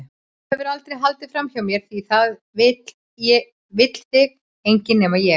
Þú hefur aldrei haldið framhjá mér því það vill þig enginn- nema ég.